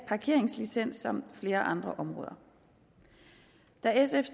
parkeringslicens samt flere andre områder da sf